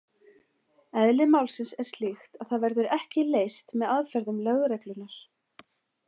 Eðli málsins er slíkt að það verður ekki leyst með aðferðum lögreglunnar.